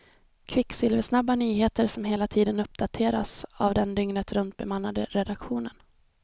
Kvicksilversnabba nyheter som hela tiden uppdateras av den dygnet runt bemannade redaktionen.